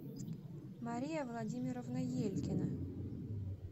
мария владимировна елькина